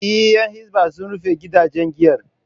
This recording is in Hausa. Eh, Yan Hisbah sun rufe gidaje giyar